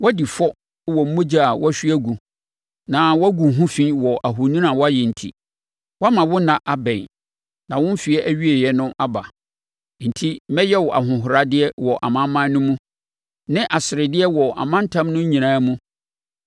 woadi fɔ wɔ mogya a woahwie agu na woagu wo ho fi wɔ ahoni a woayɛ enti. Woama wo nna abɛn, na wo mfeɛ awieeɛ no aba. Enti mɛyɛ wo ahohoradeɛ wɔ amanaman no mu, ne asredeɛ wɔ amantam no nyinaa mu.